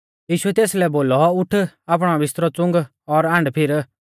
यीशुऐ तेसलै बोलौ उठ आपणौ बिस्तरौ च़ुंग और आण्डफिर